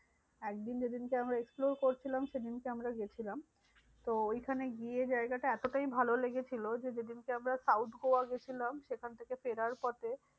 একদিন যেদিনকে আমরা explore করছিলাম সেদিনকে আমরা গেছিলাম। তো ওইখানে গিয়ে জায়গাটা এতটাই ভালো লেগেছিলো যে, যেদিনকে আমরা south গোয়া গেছিলাম সেখান থেকে ফেরার পথে